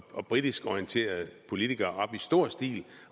og britisk orienterede politikere flokkedes i stor stil